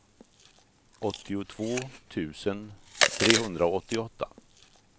åttiotvå tusen trehundraåttioåtta